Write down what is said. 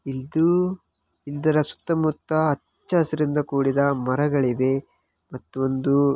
ಇದು ಇದರ ಸುತ್ತಮುತ್ತ ಅಚ್ಚ ಹಸಿರಿನಿಂದ ಕೂಡಿದ ಮರಗಳಿವೆ ಮತ್ತೊಂದು --